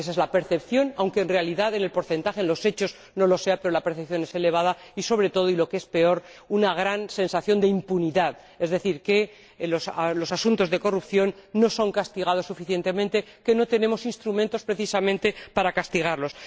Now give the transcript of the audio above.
Esa es la percepción de la ciudadanía, aunque en realidad el porcentaje en los hechos no sea tal, pero esa percepción está ahí. Y, sobre todo, lo que es peor, hay una gran sensación de impunidad, es decir, de que los asuntos de corrupción no son castigados suficientemente, de que no tenemos instrumentos precisamente para castigarlos.